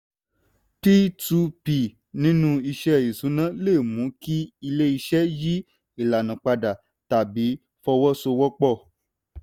p two p nínú iṣẹ́ ìṣúná le mú kí ilé-iṣẹ́ yí ìlànà padà tàbí fọwọ́sowọ́pọ̀.